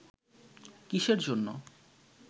কিসের জন্য